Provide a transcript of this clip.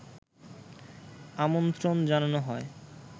আমন্ত্রণ জানানো হয়